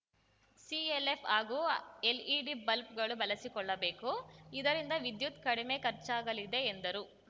ಸಿಲ್‌ಎಲ್‌ಎಫ್‌ ಹಾಗೂ LED bulb ಗಳು ಬಳಸಿಕೊಳ್ಳಬೇಕು ಇದರಿಂದ ವಿದ್ಯುತ್‌ ಕಡಿಮೆ ಖರ್ಚಾಗಲಿದೆ ಎಂದರು